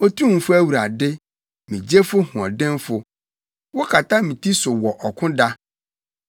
Otumfo Awurade, me gyefo hoɔdenfo, wokata me ti so wɔ ɔko da,